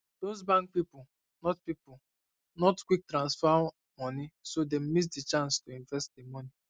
um those bank people not people not quick transfer money so them miss the chance um to invest the um money